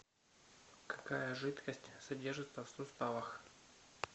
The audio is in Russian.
какая жидкость содержится в суставах